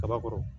Kaba kɔrɔ